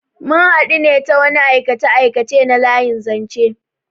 Mun hadu ne ta wani aikace-aikace na layin zanche.